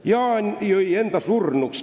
"Jaan jõi enda surnuks.